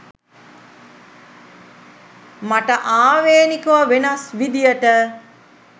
මට ආවේනිකව වෙනස් විදියට